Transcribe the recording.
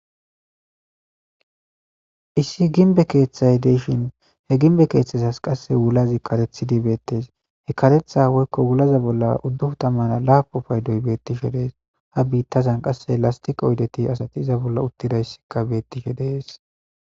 Issi gimbe keethay de'ishin ha gimbe kethazasa qase wulazi karexidi betes karetha woyko wulaza bola udupun tamane lapun paydoy de'es ha bitazan lastiqe oyden asati utidi dishe betes